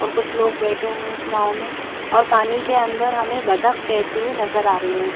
और कुछ लोग बैठे हुए उस नाव में और पानी के अंदर हमे बदक तैरती हुई नज़र आरही है।